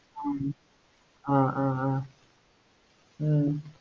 ஆஹ் ஆஹ் ஆஹ் ஆஹ் ஹம்